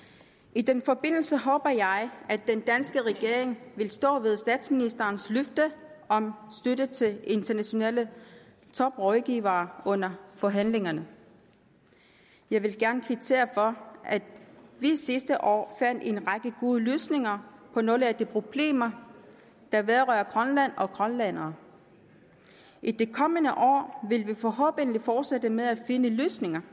i den forbindelse håber jeg at den danske regering vil stå ved statsministerens løfte om støtte til internationale toprådgivere under forhandlingerne jeg vil gerne kvittere for at vi sidste år fandt en række gode løsninger på nogle af de problemer der vedrører grønland og grønlændere i det kommende år vil vi forhåbentlig fortsætte med at finde løsninger